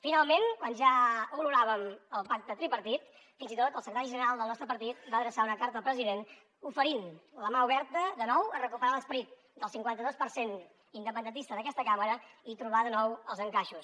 finalment quan ja oloràvem el pacte tripartit fins i tot el secretari general del nostre partit va adreçar una carta al president oferint la mà oberta de nou per recuperar l’esperit del cinquanta dos per cent independentista d’aquesta cambra i trobar de nou els encaixos